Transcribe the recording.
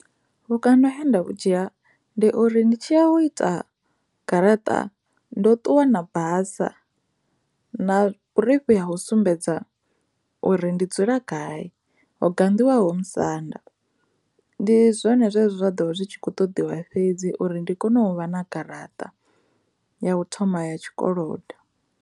Vhukando he nda vhu dzhia ndi uri ndi tshi a u ita garaṱa ndo ṱuwa na basa na vhurifhi ha u sumbedza uri ndi dzula gai ho ganḓiwaho musanda ndi zwone zwine zwa ḓo zwi tshi kho ṱoḓiwa fhedzi uri ndi kone u vha na garaṱa ya u thoma ya tshikolodo.